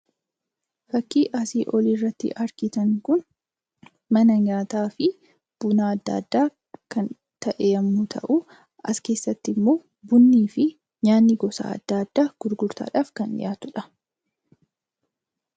Fakkii asii oliirratti argitan kun mana nyaataafi buna adda addaa kan ta'e yommuu ta'u, as keessattimmoo bunnii fi nyaanni gosa adda addaa gurgurtaadhaaf kan dhiyaatudha.